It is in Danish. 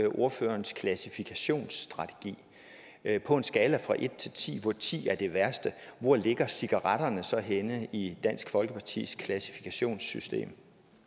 ordførerens klassifikationsstrategi ind på en skala fra en til ti hvor ti er det værste hvor ligger cigaretterne så henne i dansk folkepartis klassifikationssystem